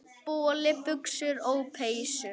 Boli, buxur og peysur.